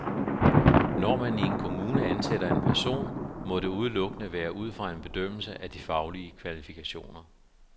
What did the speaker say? Når man i en kommune ansætter en person, må det udelukkende være ud fra en bedømmelse af de faglige kvalifikationer.